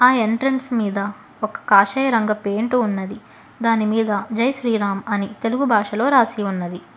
ఆ ఎంట్రన్స్ మీద ఒక కాషాయరంగ పెయింట్ ఉన్నది దానిమీద జైశ్రీరామ్ అని తెలుగు భాషలో రాసి ఉన్నది.